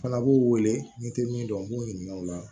Fana b'u wele n'i tɛ min dɔn u b'u ɲininka o la